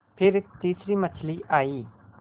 फिर तीसरी मछली आई